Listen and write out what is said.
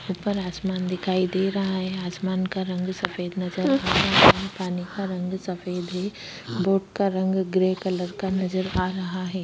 ऊपर आसमान दिखाई दे रहा है आसमान का रंग सफ़ेद नज़र आ रहा है पानी का रंग सफ़ेद है बोट का रंग ग्रे कलर का नज़र आ रहा है।